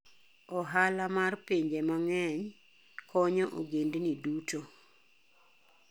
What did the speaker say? Ohala mar pinje mang'eny konyo ogendini duto.